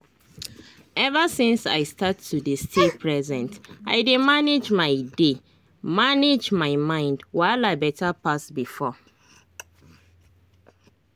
ever since i start to dey stay present i dey manage my dey manage my mind wahala better pass before.